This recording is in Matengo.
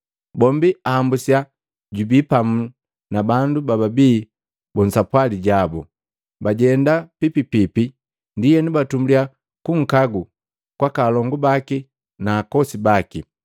bombi ahambusiya jubi pamu na bandu bababii musapwali jabu, bajenda pipipipi. Ndienu batumbulya kunkagu kwaka alongu baki na akosi baki.